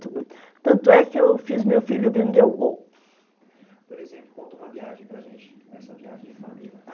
Tanto é que eu fiz o meu filho vender o gol. Por exemplo, conta uma viagem para a gente, essa viagem de família,